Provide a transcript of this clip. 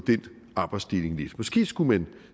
arbejdsdeling lidt måske skulle man